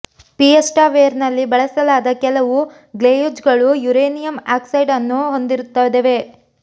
fiesta ವೇರ್ನಲ್ಲಿ ಬಳಸಲಾದ ಕೆಲವು ಗ್ಲೇಝ್ಗಳು ಯುರೇನಿಯಂ ಆಕ್ಸೈಡ್ ಅನ್ನು ಹೊಂದಿರುತ್ತವೆ